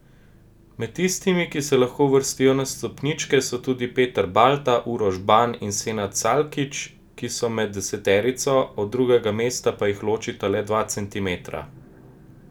Med tistimi, ki se lahko uvrstijo na stopničke, so tudi Peter Balta, Uroš Ban in Senad Salkič, ki so med deseterico, do drugega mesta pa jih ločita le dva centimetra.